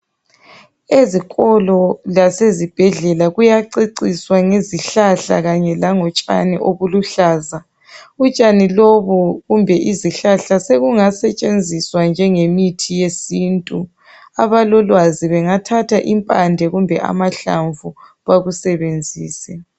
Ezikolo lasezibhedlela kuyaceciswa ngezihlahla kanye langotshani obuluhlaza. Utshani lobu kumbe izihlahla sekungasetshenziswa njengemithi yesintu. Abalolwazi bengathatha impande kumbe amahlamvu bakusebenzise.